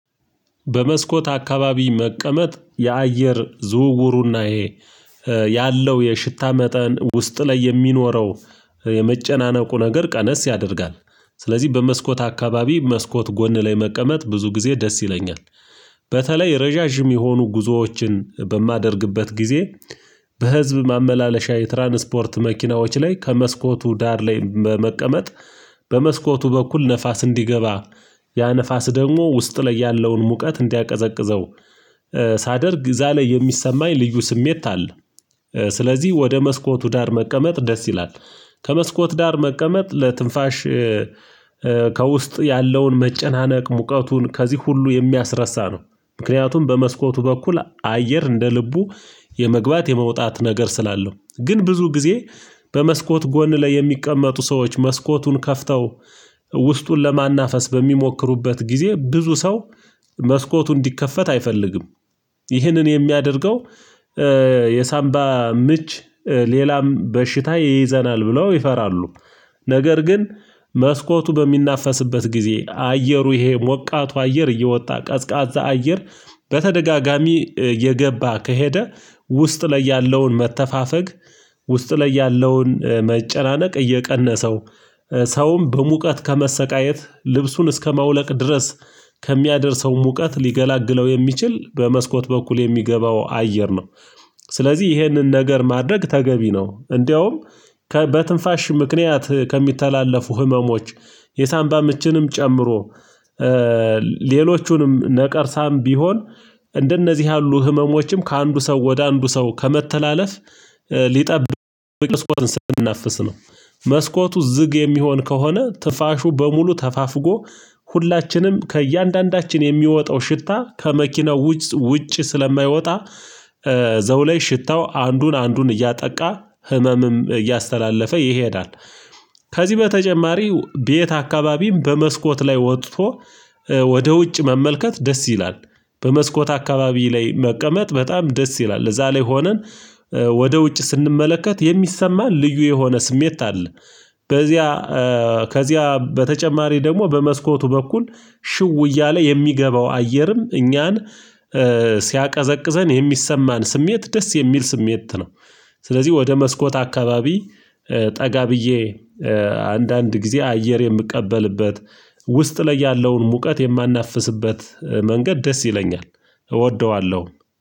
በመስኮት አካባቢ መቀመጥ የአየር ዝውውሩና ይሄ ያለው የሽታ መጠን ውስጥ ላይ የሚኖረው የመጨናነቁ ነገር ቀነስ ያደርጋል። ስለዚህ በመስኮት አካባቢ መስኮት ጎን ላይ መቀመጥ ብዙ ጊዜ ደስ ይለኛል። በተለይ ረዣዥም የሆኑ ጉዞዎችን በማደርግበት ጊዜ በህዝብ ማመላለሻ የትራንስፖርት መኪናዎች ላይ ከመስኮቱ ዳር ላይ በመቀመጥ በመስኮቱ በኩል ንፋስ እንዲገባ ያ ንፋስ ደግሞ ውስጥ ላይ ያለውን ሙቀት እንዲያቀዘቅዘው ሳደርግ እዛ ላይ የሚሰማኝ ልዩ ስሜት አለ። ስለዚህ ወደ መስኮቱ ዳር መቀመጥ ደስ ይላል ከመስኮት ዳር መቀመጥ ለትንፋሽ ከውስጥ ያለውን መጨናነቅ ሙቀቱን ከዚህ ሁሉ የሚያስረሳ ነው። ምክንያቱም በመስኮቱ በኩል አየር እንደ ልቡ የመግባት የመውጣት ነገር ስላለው ግን ብዙ ጊዜ በመስኮት ጎን ላይ የሚቀመጡ ሰዎች መስኮቱን ከፍተው ውስጡን ለማናፈስ በሚሞክሩበት ጊዜ ብዙ ሰው መስኮቱ እንዲከፈት አይፈልግም። ይህንን የሚያደርገው የሳንባ ምች ሌላም በሽታ ይይዘናል ብለው ይፈራሉ። ነገር ግን መስኮቱ በሚናፈስበት ጊዜ አየሩ ይሄ ሞቃቱ አየር እየወጣ ቀዝቃዛ አየር በተደጋጋሚ እየገባ ከሄደ ውስጥ ላይ ያለውን መተፋፈግ ውስጥ ላይ ያለውን መጨናነቅ እየቀነሰው ሰውም በሙቀት ከመሰቃየት ልብሱን እስከማውለቅ ድረስ ከሚያደርሰው ሙቀት ሊገላግለው የሚችል በመስኮት በኩል የሚገባው አየር ነው። ስለዚህ ይህንን ነገር ማድረግ ተገቢ ነው። እንደውም በትንፋሽ ምክንያት ከሚተላለፉ ህመሞች የሳንባ ምችንም ጨምሮ ሌሎቹንም ነቀርሳም ቢሆን እንደነዚህ ያሉ ህመሞችም ከአንዱ ሰው ወደ አንዱ ሰው ከመተላለፍ ሊጠብቅ መስኮቱን ስንናፍስ ነው። መስኮቱ ዝግ የሚሆን ከሆነ ትንፋሹ በሙሉ ተፋፍጎ ሁላችንም ከእያንዳንዳችን የሚወጣው ሽታ ከመኪናው ውጭ ውጭ ስለማይወጣ እዛው ላይ ሽታው አንዱን አንዱን እያጠቃ ህመምም እያስተላለፈ ይሄዳል። ከዚህ በተጨማሪ ቤት አካባቢም በመስኮት ላይ ወጥቶ ወደ ውጭ መመልከት ደስ ይላል በመስኮት አካባቢ ላይ መቀመጥ በጣም ደስ ይላል እዛ ላይ ሆነን ወደ ውጭ ስንመለከት የሚሰማን ልዩ የሆነ ስሜት አለ። በዚያ ከዚያ በተጨማሪ ደግሞ በመስኮቱ በኩል ሽው እያለ የሚገባው አየርም እኛን ሲያቀዘቅዘን የሚሰማን ስሜት ደስ የሚል ስሜት ነው። ስለዚህ ወደ መስኮት አካባቢ ጠጋ ብዬ አንዳንድ ጊዜ አየር የምቀበልበት ውስጥ ላይ ያለውን ሙቀት የማናፍስበት መንገድ ደስ ይለኛል እወደዋለሁ